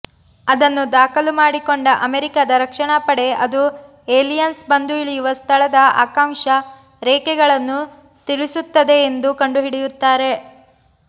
ಅದನ್ನು ದಾಖಲು ಮಾಡಿಕೊಂಡ ಅಮೆರಿಕದ ರಕ್ಷಣಾಪಡೆ ಅದು ಏಲಿಯನ್ಸ್ ಬಂದು ಇಳಿಯವ ಸ್ಥಳದ ಅಕ್ಷಾಂಶ ರೇಖಾಂಶಗಳನ್ನು ತಿಳಿಸುತ್ತದೆ ಎಂದು ಕಂಡುಹಿಡಿಯುತ್ತಾರೆ